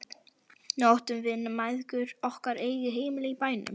Nú áttum við mæðgur okkar eigið heimili í bænum.